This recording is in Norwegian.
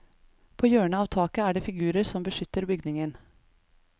På hjørnet av taket er det figurer som beskytter bygningen.